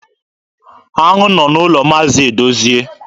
Aṅụ nọ n'ụlọ Maazi Edozie.